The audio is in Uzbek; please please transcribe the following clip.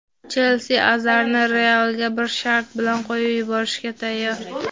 "Chelsi" Azarni "Real"ga bir shart bilan qo‘yib yuborishga tayyor.